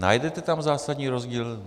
Najdete tam zásadní rozdíl?